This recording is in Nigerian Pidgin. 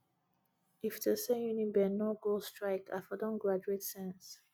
if to say uniben no go strike i for don graduate since